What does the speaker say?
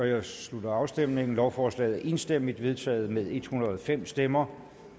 jeg slutter afstemningen lovforslaget er enstemmigt vedtaget med en hundrede og fem stemmer